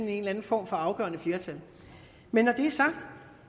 eller anden form for afgørende flertal men når det er sagt vil